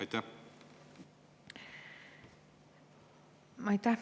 Aitäh!